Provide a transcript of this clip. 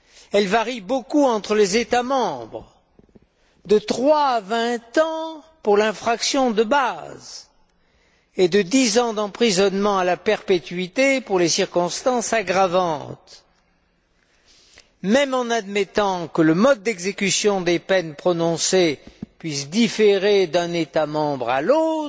Elles varient beaucoup entre les États membres, de trois à vingt ans pour l'infraction de base et de dix ans d'emprisonnement à la perpétuité pour les circonstances aggravantes. Même en admettant que le mode d'exécution des peines prononcées puisse différer d'un État membre à l'autre,